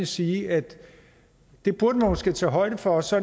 sige at det burde man måske tage højde for så